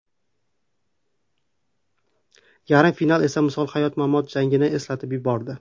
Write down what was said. Yarim final esa misoli hayot-mamot jangini eslatib yubordi.